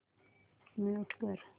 mute कर